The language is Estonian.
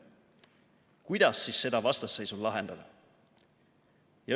Kuidas siis seda vastasseisu lahendada?